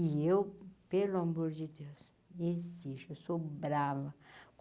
E eu, pelo amor de Deus, exijo, eu sou brava.